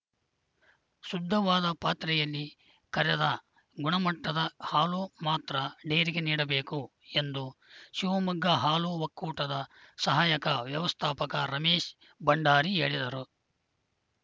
ಶುದ್ಧವಾದ ಪಾತ್ರೆಯಲ್ಲಿ ಕರೆದ ಗುಣಮಟ್ಟದ ಹಾಲು ಮಾತ್ರ ಡೇರಿಗೆ ನೀಡಬೇಕು ಎಂದು ಶಿವಮೊಗ್ಗ ಹಾಲು ಒಕ್ಕೂಟದ ಸಹಾಯಕ ವ್ಯವಸ್ಥಾಪಕ ರಮೇಶ್‌ ಭಂಡಾರಿ ಹೇಳಿದರು